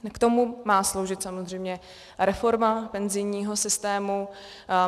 K tomu má sloužit samozřejmě reforma penzijního systému.